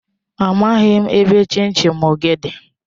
Amaghim ebe chin chin gi di.